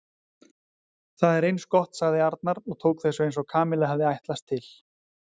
Það er eins gott sagði Arnar og tók þessu eins og Kamilla hafði ætlast til.